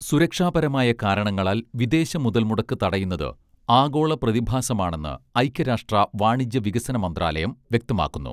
സുരക്ഷാപരമായ കാരണങ്ങളാൽ വിദേശ മുതൽ മുടക്കു തടയുന്നത് ആഗോള പ്രതിഭാസമാണെന്ന് ഐക്യ രാഷ്ട്ര വാണിജ്യ വികസന മന്ത്രാലയം വ്യക്തമാക്കുന്നു